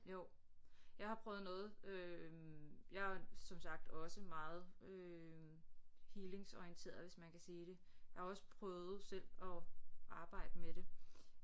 Jo jeg har prøvet noget øh jeg er som sagt også meget øh healingsorienteret hvis man kan sige det jeg har også prøvet selv at arbejde med det